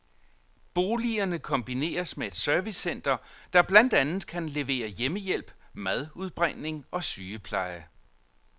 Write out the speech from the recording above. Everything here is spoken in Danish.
Boligerne kombineres med et servicecenter, der blandt andet kan levere hjemmehjælp, madudbringning og sygepleje.